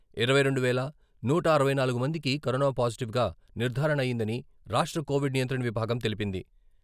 ఇరవై రెండు వేల నూట అరవై నాలుగు మందికి కరోనా పాజిటివ్ గా నిర్ధారణ అయ్యిందని రాష్ట్ర కోవిడ్ నియంత్రణ విభాగం తెలిపింది..